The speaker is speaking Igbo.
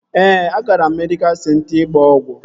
Ee, agara m medịkal senta ịgba ọgwụ